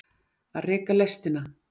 Að reka lestina